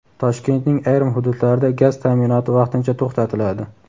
Toshkentning ayrim hududlarida gaz ta’minoti vaqtincha to‘xtatiladi.